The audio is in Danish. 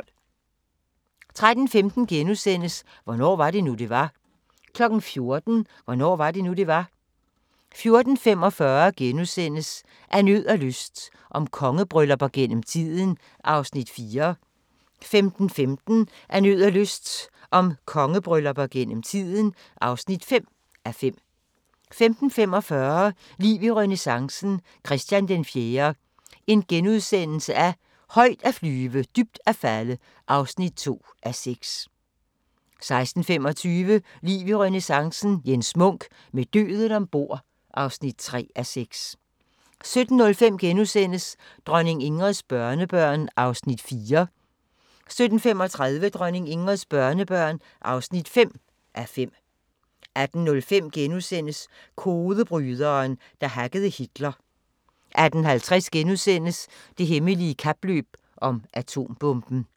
13:15: Hvornår var det nu, det var? * 14:00: Hvornår var det nu, det var? 14:45: Af nød og lyst – om kongebryllupper gennem tiden (4:5)* 15:15: Af nød og lyst – om kongebryllupper gennem tiden (5:5) 15:45: Liv i renæssancen – Christian IV - højt at flyve, dybt at falde (2:6)* 16:25: Liv i renæssancen – Jens Munk: Med døden ombord (3:6) 17:05: Dronning Ingrids børnebørn (4:5)* 17:35: Dronning Ingrids børnebørn (5:5) 18:05: Kodebryderen, der hackede Hitler * 18:50: Det hemmelige kapløb om atombomben *